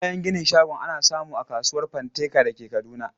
Kayan ginin shagon ana samu a kasuwar Fanteka da ke Kaduna.